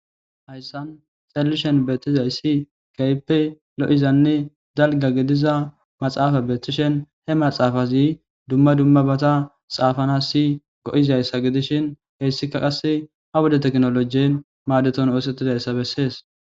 hayssan xallishen beettizayssi kayppe lo7izanne dalga gidiza maxaafa beeththishen he maxaafazi dumma dummabata xaafana si go7izayssa gidishin heyssika qasse a wode teknolojien maadeton oosetizayssa bessees